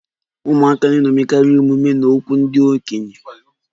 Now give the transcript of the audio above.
Ụmụaka na-eṅomikarị omume na okwu ndị okenye